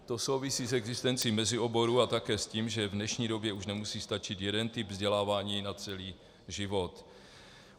To souvisí s existencí mezioborů a také s tím, že v dnešní době už nemusí stačit jeden typ vzdělávání na celý život.